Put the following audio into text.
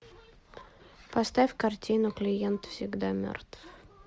поставь картину клиент всегда мертв